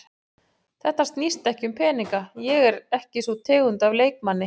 Þetta snýst ekki um peninga, ég er ekki sú tegund af leikmanni.